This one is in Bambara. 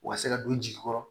U ka se ka don u jigi kɔrɔ